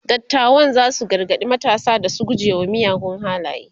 dattawan zasu gargaɗi matasa da su guje wa miyagun halaye